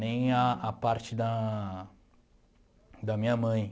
Nem a a parte da da minha mãe